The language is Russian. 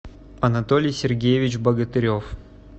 анатолий сергеевич богатырев